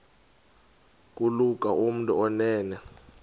kulula kumntu onen